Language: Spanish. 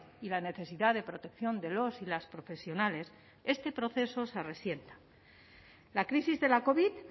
y la necesidad de protección de los y las profesionales este proceso se resienta la crisis de la covid